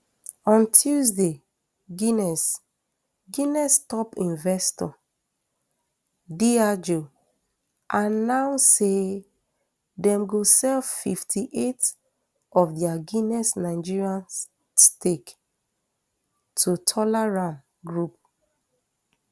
on tuesday guinness guinness top investor diageo announce say dem go sell fifty-eight of dia guinness nigeria stake to tolaram group